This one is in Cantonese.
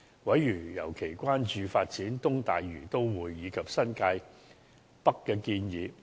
委員尤其關注發展"東大嶼都會"及新界北的建議。